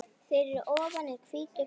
Fyrir ofan er hvítur kross.